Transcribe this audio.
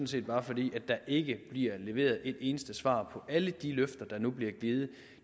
set bare fordi der ikke bliver leveret et eneste svar på alle de løfter der nu bliver givet